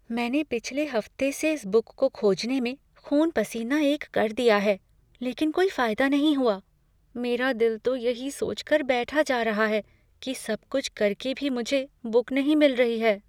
मैंने पिछले हफ्ते से इस बुक को खोजने में ख़ून पसीना एक कर दिया है, लेकिन कोई फायदा नहीं हुआ। मेरा दिल तो यही सोचकर बैठा जा रहा है कि सब कुछ करके भी मुझे बुक नहीं मिल रही है।